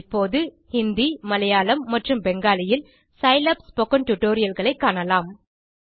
இப்போது இந்தி மலையாளம் மற்றும் பெங்காலியில் சிலாப் ஸ்போக்கன் tutorialகளைக் காணலாம்